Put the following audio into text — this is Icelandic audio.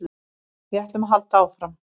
Við ætlum að halda áfram